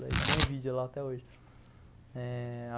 Daí tem o vídeo lá até hoje. Eh...